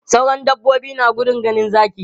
Sauran dabbobi na gudun ganin zaki.